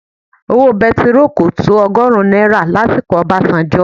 Owó bẹntiróò kò tó ọgọ́rùn-ún náírà lásìkò Obasanjo.